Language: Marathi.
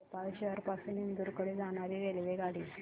भोपाळ शहर पासून इंदूर कडे जाणारी रेल्वेगाडी